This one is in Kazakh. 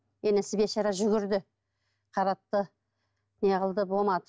енесі бейшара жүгірді қаратты неғылды болмады